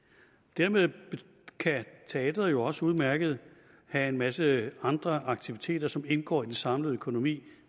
dermed kan teatret jo også udmærket have en masse andre aktiviteter som indgår i den samlede økonomi